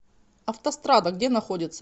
автострада где находится